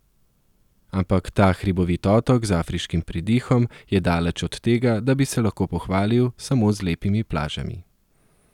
Ampak ta hribovit otok z afriškim pridihom, je daleč od tega, da bi se lahko pohvalil samo z lepimi plažami.